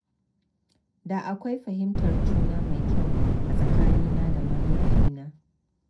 Da akwai fahimtar juna mai kyau a tsakanina da mahaifina.